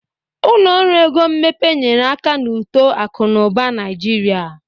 Ụlọ ọrụ ego mmepe nyere aka n'uto akụ na ụba Naịjirịa.